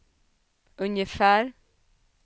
ungefär